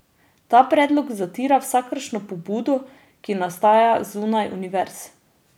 Ta predlog zatira vsakršno pobudo, ki nastaja zunaj univerz.